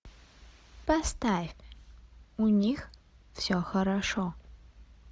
поставь у них все хорошо